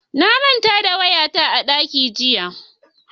Na manta da waya ta a dakin jira.